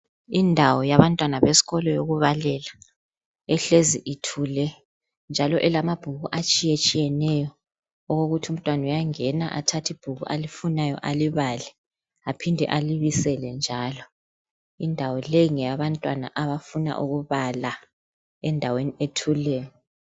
Indawo yabantwana besikolo yokubalela ehlezi ithule njalo elamabhuku atshiye tshiyeneyo okokuthi umntwana uyangena athathe ibhuku alifunayo alibale aphinde alibisele njalo. Indawo le ngeyabantwana abafuna ukubala endaweni ethuleyo.